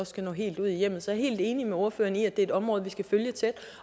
skal nå helt ud i hjemmet så helt enig med ordføreren i at det er et område vi skal følge tæt